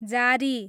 जारी